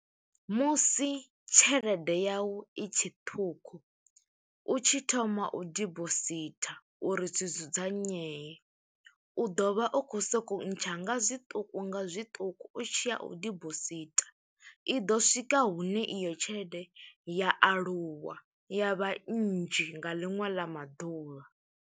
Musi tshelede yau i tshe ṱhukhu, u tshi thoma u dibositha uri zwi dzudzanyee, u ḓo vha u khou sokou ntsha nga zwiṱuku nga zwiṱuku, u tshiya u dibositha. I ḓo swika hune iyo tshelede ya aluwa, ya vha nnzhi nga ḽiṅwe ḽa maḓuvha.